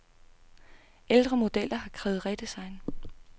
Ældre modeller har krævet redesign.